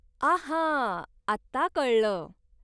आहा, आता कळलं.